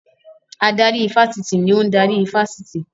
Adarí ifásitì ni ò ń darí ifásitì